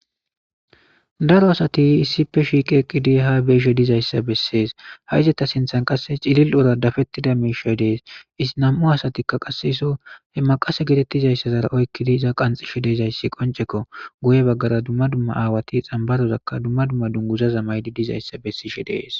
daro asati issippe shiiqeeqqidi ha beeshe dizayssa bessees ha izata sinthan qasse cilil ura dafettida miishoy dees isi nam7u asatikka qaseso he maqase getettizayssazara oykkidi iza qanxishe deezayssi qonceko guye baggara dumma dumma aawati xambarozakka dumma dumma dunguza zamaydi dizayssa bessishe dees